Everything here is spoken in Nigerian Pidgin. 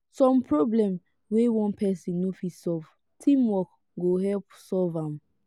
some problems wey one person no fit solve teamwork go help solve am